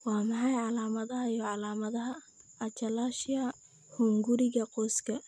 Waa maxay calaamadaha iyo calaamadaha achalasia hunguriga qoyska?